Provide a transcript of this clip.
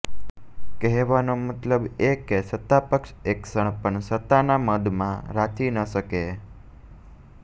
કહેવાનો મતલબ એ કે સત્તાપક્ષ એક ક્ષણ પણ સત્તાના મદમાં રાચી ન શકે